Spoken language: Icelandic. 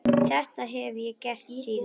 Þetta hef ég gert síðan.